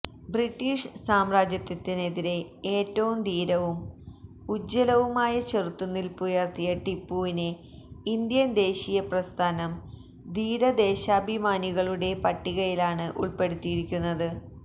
British സാമ്രാജ്യത്വത്തിനെതിരെ ഏറ്റവും ധീരവും ഉജ്ജ്വലവുമായ ചെറുത്തുനില്പുയര്ത്തിയ ടിപ്പുവിനെ ഇന്ത്യന് ദേശീയ പ്രസ്ഥാനം ധീര ദേശാഭിമാനികളുടെ പട്ടികയിലാണ് ഉള്പ്പെടുത്തിയിരിക്കുന്നത്